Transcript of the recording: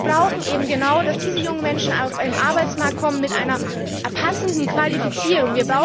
Und wir brauchen eben genau, dass diese jungen Menschen auf den Arbeitsmarkt kommen mit einer passenden Qualifizierung.